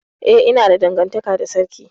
Eh, ina da dangantaka da sarki.